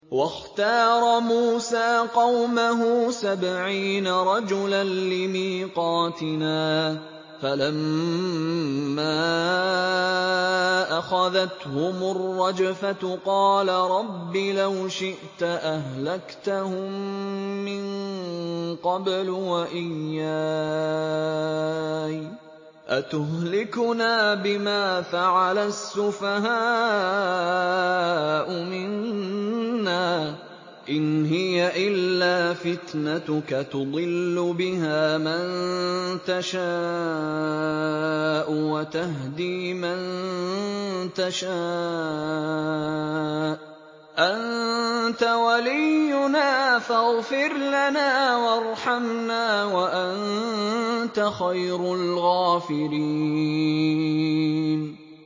وَاخْتَارَ مُوسَىٰ قَوْمَهُ سَبْعِينَ رَجُلًا لِّمِيقَاتِنَا ۖ فَلَمَّا أَخَذَتْهُمُ الرَّجْفَةُ قَالَ رَبِّ لَوْ شِئْتَ أَهْلَكْتَهُم مِّن قَبْلُ وَإِيَّايَ ۖ أَتُهْلِكُنَا بِمَا فَعَلَ السُّفَهَاءُ مِنَّا ۖ إِنْ هِيَ إِلَّا فِتْنَتُكَ تُضِلُّ بِهَا مَن تَشَاءُ وَتَهْدِي مَن تَشَاءُ ۖ أَنتَ وَلِيُّنَا فَاغْفِرْ لَنَا وَارْحَمْنَا ۖ وَأَنتَ خَيْرُ الْغَافِرِينَ